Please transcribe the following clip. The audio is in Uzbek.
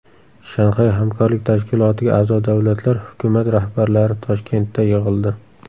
Shanxay hamkorlik tashkilotiga a’zo davlatlar hukumat rahbarlari Toshkentda yig‘ildi.